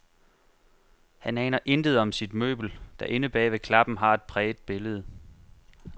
Han aner intet om sit møbel, der inde bag ved klappen har et præget billede.